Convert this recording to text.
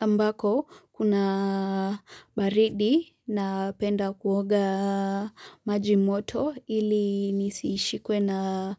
ambako kuna baridi napenda kuoga maji moto ili nisishikwe na